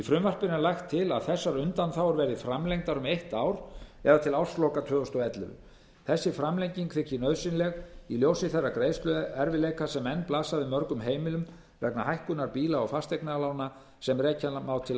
frumvarpinu er lagt til að þessar undanþágur verði framlengdar um eitt ár það er til ársloka tvö þúsund og ellefu þessi framlenging þykir nauðsynleg í ljósi þeirra greiðsluerfiðleika sem enn blasa við mörgum heimilum vegna hækkunar bíla og fasteignalána sem rekja má til